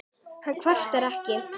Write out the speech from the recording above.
Hann kvartar ekki.